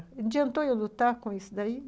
Adiantou eu lutar com isso daí?